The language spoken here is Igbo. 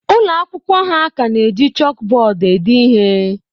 Ụlọ akwụkwọ ha ka na-eji chọọkụ bọọdụ ede ihe.